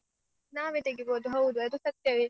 ನಾವೇ ತೆಗಿಬೋದ್ ಹೌದು ಅದು ಸತ್ಯವೇ.